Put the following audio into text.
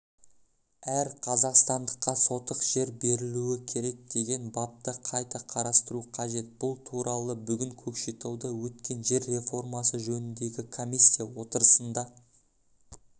әр қазақстандыққа сотық жер берілуі керек деген бапты қайта қарастыру қажет бұл туралы бүгін көкшетауда өткен жер реформасы жөніндегі комиссия отырысында